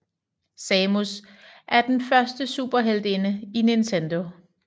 Samus er den første superheltinde i Nintendo